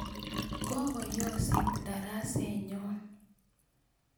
Kokoyosit darasenyo